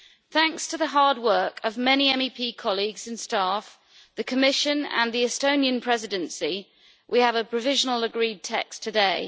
Thanks to the hard work of many MEP colleagues and staff, the Commission and the Estonian Presidency, we have a provisionally agreed text today.